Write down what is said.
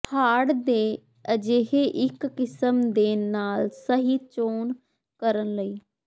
hard ਦੇ ਅਜਿਹੇ ਇੱਕ ਕਿਸਮ ਦੇ ਨਾਲ ਸਹੀ ਚੋਣ ਕਰਨ ਲਈ